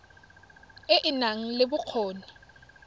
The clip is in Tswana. e e nang le bokgoni